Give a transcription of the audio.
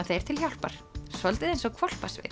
þeir til hjálpar svolítið eins og